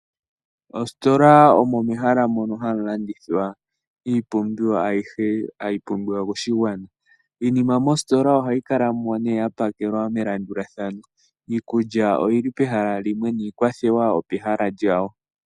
Mositola omo mehala mono hamulandithwa iipumbiwa ayihe hayipimbiwa koshingwaana iinima mositola ohayi kalamo ne yapakelwa melandulathano iikulya oyili pehala lyawo niikwathewa opehala lyawo.